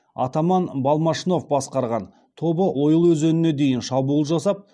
атаман балмашнов басқарған тобы ойыл өзеніне дейін шабуыл жасап